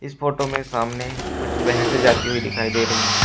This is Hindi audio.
फोटो में सामने कुछ भैंसे जाती हुई दिखाई दे रही हैं।